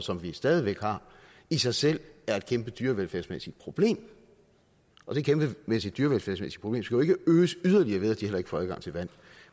som vi stadig væk har i sig selv er et kæmpe dyrevelfærdsmæssigt problem og det kæmpemæssige dyrevelfærdsmæssige problem skal jo ikke øges yderligere ved at de heller ikke får adgang til vand